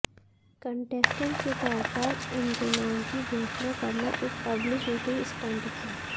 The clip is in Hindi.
कंटेस्टेंट के तौर पर इनके नाम की घोषणा करना एक पब्लिसिटी स्टंट था